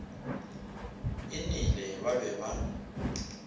e nele ba be ba